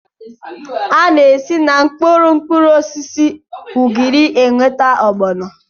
A na-esi na mkpụrụ mkpụrụosisi ugiri enweta ọgbọnọ